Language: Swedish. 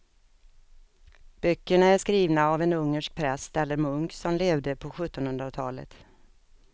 Böckerna är skrivna av en ungersk präst eller munk som levde på sjuttonhundratalet.